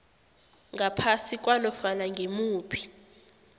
ngaphasi kwanofana ngimuphi